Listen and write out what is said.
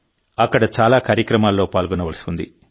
అక్కడ చాలా కార్యక్రమాల్లో పాల్గొనవలసి ఉంది